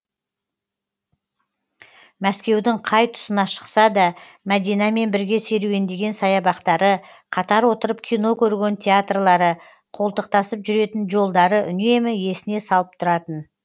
мәскеудің қай тұсына шықса да мәдинамен бірге серуендеген саябақтары қатар отырып кино көрген театрлары қолтықтасып жүретін жолдары үнемі есіне салып тұратын